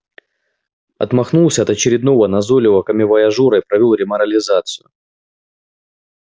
отмахнулся от очередного назойливого коммивояжёра и провёл реморализацию